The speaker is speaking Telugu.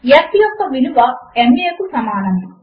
F యొక్క విలువ m a కు సమానము